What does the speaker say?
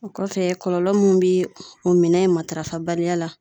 O kɔfɛ , kɔlɔlɔ min bɛ o minɛ in matarafa baliya.